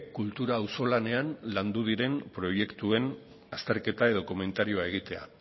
kultura auzolanean landu diren proiektuen azterketa edo komentarioa egitea